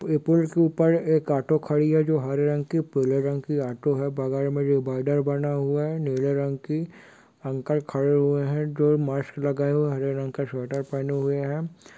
ये पुल के ऊपर एक ऑटो खड़ी है जो हरे रंग की पीले रंग की ऑटो हैबगल में डीबाईडर बना हुआ हैनीले रंग की अंकल खड़े हुए हैं जो मास्क लगाये हुए हरे रंग का शुवेटर पेहने हुए है।